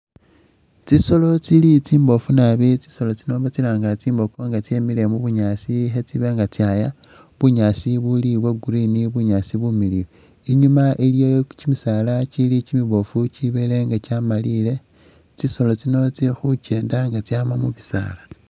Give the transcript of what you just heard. Tsitsolo tsili tsimboofu naabi tsitsolo tsino batsilanga tsimbogo nga tseile mubunyasi khetsibanga tsaya bunyasi buli bwagreen bunyasi bumiliyu inyuma iliyo kyimisaala kyimiboofu kyibelenga kyamaliyile tsisolo tsino tsilikho tsikyenda inga tsama mubisaala.